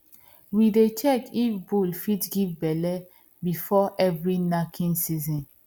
we dey check if bull fit give belle before every knacking season